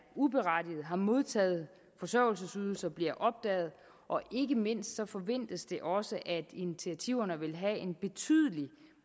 uberettiget har modtaget forsørgelsesydelser bliver opdaget og ikke mindst forventes det også at initiativerne vil have en betydelig